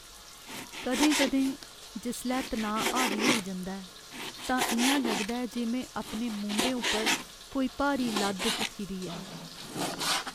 कदें कदें, जिसलै तनाऽ हावी होई जंदा ऐ, तां इ'यां लगदा ऐ जे में अपने मूंढें उप्पर कोई भारी लद्द चुक्की दी ऐ।